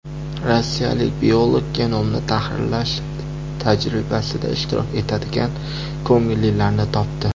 Rossiyalik biolog genomni tahrirlash tajribasida ishtirok etadigan ko‘ngillilarni topdi.